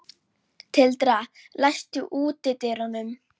Tildra, læstu útidyrunum.